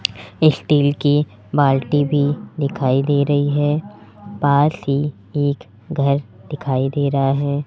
Steel की बाल्टी भी दिखाई दे रही है पास ही एक घर दिखाई दे रा है।